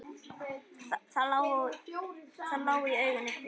Það lá í augum uppi.